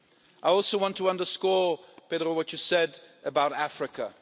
I also want to underscore, Pedro, what you said about Africa.